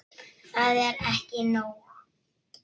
Það er ekki nóg.